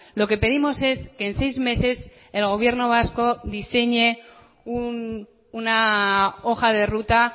lo que pedimos es que en seis meses el gobierno vasco diseñe una hoja de ruta